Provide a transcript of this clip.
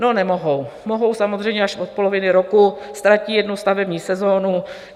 No, nemohou, mohou samozřejmě až od poloviny roku, ztratí jednu stavební sezonu.